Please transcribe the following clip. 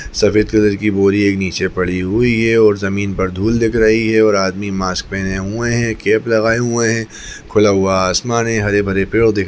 सफ़ेद कलर की बोरी एक नीचे पड़ी हुई है और जमीन पर धूल दिख रही है और आदमी मास्क पहने हुए है कैप कप लगाए हुए है खुला हुआ आसमान है हरे-भरे पेड़ दिख--